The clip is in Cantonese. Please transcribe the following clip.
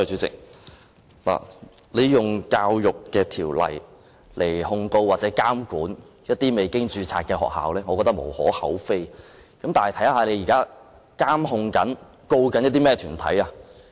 政府以《教育條例》來控告或監管未註冊的學校，我覺得是無可厚非，但政府現時正在監管或檢控甚麼團體呢？